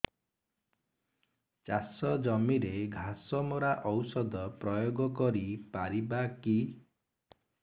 ଚାଷ ଜମିରେ ଘାସ ମରା ଔଷଧ ପ୍ରୟୋଗ କରି ପାରିବା କି